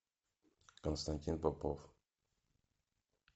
константин попов